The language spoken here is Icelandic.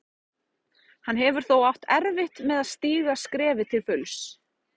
Hann hefur þó átt erfitt með að stíga skrefið til fulls.